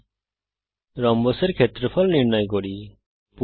এখন রম্বসের ক্ষেত্রফল নির্ণয় করা যাক